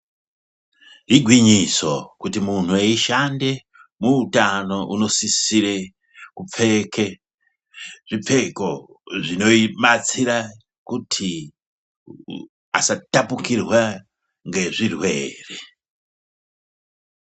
Igwinyiso kuti munthu eishande muutano unosisire kupfeke zvipfeko zvinobatsire kuti asa tapukirwe ngezvirwere.